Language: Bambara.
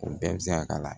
O bɛɛ bɛ se ka k'a la